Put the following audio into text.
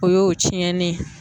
O y'o tiɲɛnen ye.